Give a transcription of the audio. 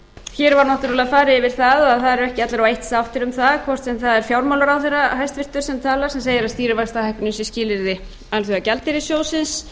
hér var náttúrlega farið yfir það að það eru ekki allir eitt sáttir um það hvort sem það er fjármálaráðherra hæstvirts sem talar sem segir að stýrivaxtahækkunin sé skilyrði alþjóðagjaldeyrissjóðsins